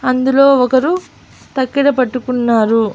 అందులో ఒకరు తక్కెడ పట్టుకున్నారు.